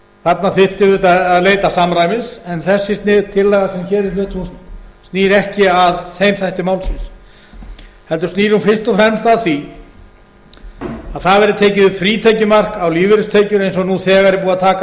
þarna þyrfti auðvitað að leita samræmis en þessi tillaga sem hér flutt snýr ekki að þeim þætti málsins heldur snýr hún fyrst og fremst að því að það verði tekið upp frítekjumark á lífeyristekjur eins og nú þegar er búið að taka